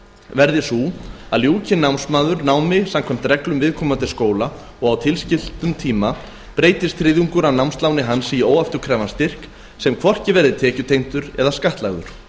verði sú að ljúki námsmaður námi samkvæmt reglum viðkomandi skóla og á tilskildum tíma breytist þriðjungur af námsláni hans í óafturkræfan styrk sem hvorki verði tekjutengdur né skattlagður